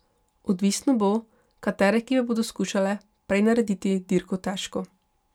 Odvisno bo, katere ekipe bodo skušale prej narediti dirko težko.